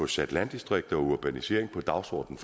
sat landdistrikter og urbanisering på dagsordenen